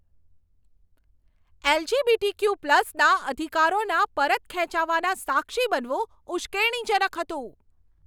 એલ.જી.બી.ટી.ક્યુ.પ્લસના અધિકારોના પરત ખેંચાવાના સાક્ષી બનવું ઉશ્કેરણીજનક હતું.